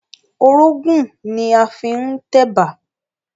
Orógùn ni a fi ń tẹ̀bà